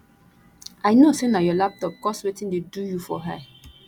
i no say na your laptop cause wetin dey do you for eye